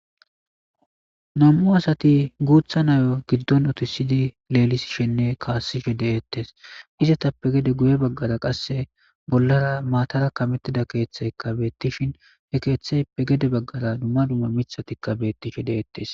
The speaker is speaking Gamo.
nam7u asati guutha nayo giddon otisidi leelisishenne kaassishe deeettes izatappe gede guye baggara qasse bollara maatara kamettida keeththeyka beettishin he keeththey pe gede baggara dumma dumma mithatikka beettishe deeettes